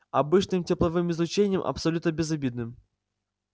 обычным тепловым излучением абсолютно безобидным